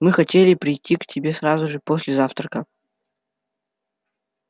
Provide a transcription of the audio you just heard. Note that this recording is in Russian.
мы хотели пойти к тебе сразу же после завтрака